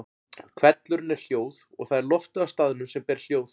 Hvellurinn er hljóð og það er loftið á staðnum sem ber hljóð.